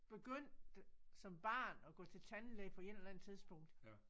Begyndt som barn at gå til tandlæge på en eller anden tidspunkt